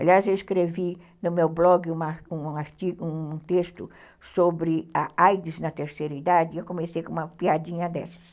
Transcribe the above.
Aliás, eu escrevi no meu blog um texto sobre a a i dês na terceira idade e eu comecei com uma piadinha dessas.